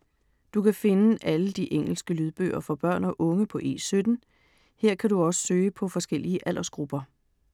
Du kan finde alle de engelske lydbøger for børn og unge på E17. Her kan du søge på forskellige aldersgrupper.